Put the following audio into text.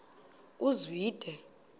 uzwide